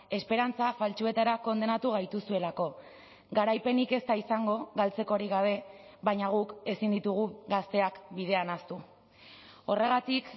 esperantza faltsuetara kondenatu gaituzuelako garaipenik ez da izango galtzekorik gabe baina guk ezin ditugu gazteak bidean ahaztu horregatik